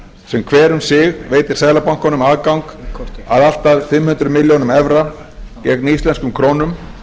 sem hver um sig veitir seðlabankanum aðgang að allt að fimm hundruð milljónum evra gegn íslenskum krónum